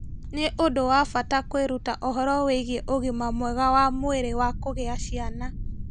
Nĩ ũndũ wa bata kwĩruta ũhoro wĩgiĩ ũgima mwega wa mwĩrĩ wa kũgĩa ciana.